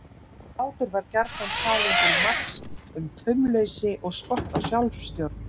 Hlátur var gjarnan talinn til marks um taumleysi og skort á sjálfstjórn.